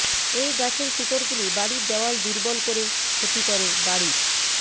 এই গাছের শিকড়গুলি বাড়ির দেওয়াল দুর্বল করে ক্ষতি করে বাড়ির